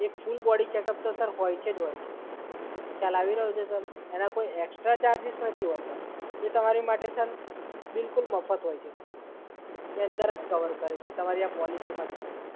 બંનેનું એક full body checkup છે સર એ હોય છે ને હોય છે જ. ખ્યાલ આવી રહ્યો છે સર? એના કોઈ એકસ્ટ્રા ચાર્જિસ નથી હોતા. એ તમારી માટે સર બિલકુલ મફત હોય છે, સર. એ અંદર જ કવર કરે છે તમારી આ પોલિસીમાં જ, સર.